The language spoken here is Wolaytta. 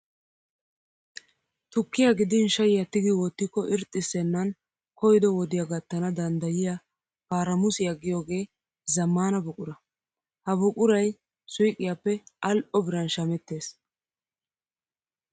Tukkiyaa gidin shayiyaa tigi wottikko irxxissennan koyyido wodiyaa gattana danddayiyaa paramusiyaa yaagiyoo zammaana buquraa. Ha buqurayi suyiqiyaappe al'oo biran shamettes.